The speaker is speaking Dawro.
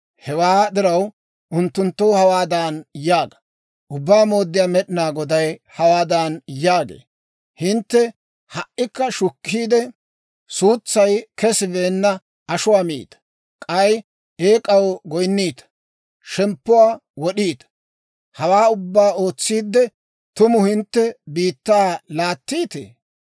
«Hewaa diraw, unttunttoo hawaadan yaaga; ‹Ubbaa Mooddiyaa Med'inaa Goday hawaadan yaagee; «Hintte ha"ikka shukkiide, suutsay kesibeenna ashuwaa miita; k'ay eek'aw goyinniita; shemppuwaa wod'iita. Hawaa ubbaa ootsiidde, tumu hintte biittaa laattiitee?